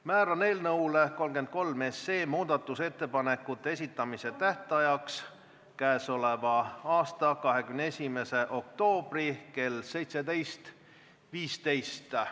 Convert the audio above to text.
Määran eelnõu 33 kohta muudatusettepanekute esitamise tähtajaks k.a 21. oktoobri kell 17.15.